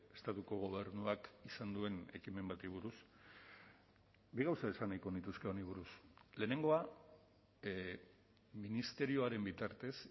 estatuko gobernuak izan duen ekimen bati buruz bi gauza esan nahiko nituzke honi buruz lehenengoa ministerioaren bitartez